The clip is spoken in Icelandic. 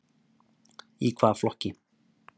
Í hvaða flokki?